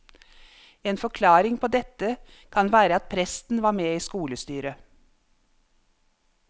En forklaring på dette kan være at presten var med i skolestyret.